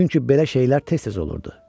Çünki belə şeylər tez-tez olurdu.